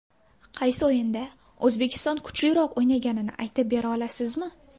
Qaysi o‘yinda O‘zbekiston kuchliroq o‘ynaganini aytib bera olasizmi?